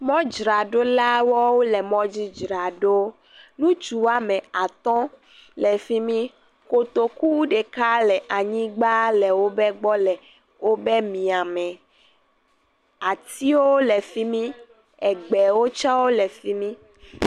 Mɔdzraɖolawo le mɔdzi dzra ɖɔ, ŋutsu woame atɔ̃ le fi mi, kotoku ɖeka le wo gbɔ le fi mi le wobe mia me, atiwo le fi mi, egbewo le fi mi